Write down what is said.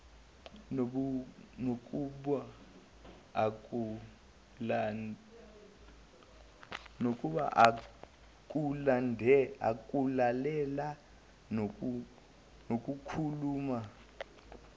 nakuba ukulalela nokukhuluma